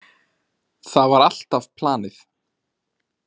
Það var alltaf planið.